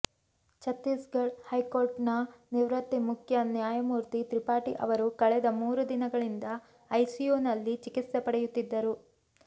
ಛತ್ತೀಸ್ ಗಢ high court ನ ನಿವೃತ್ತ ಮುಖ್ಯ ನ್ಯಾಯಮೂರ್ತಿ ತ್ರಿಪಾಠಿ ಅವರು ಕಳೆದ ಮೂರು ದಿನಗಳಿಂದ ಐಸಿಯುನಲ್ಲಿ ಚಿಕಿತ್ಸೆ ಪಡೆಯುತ್ತಿದ್ದರು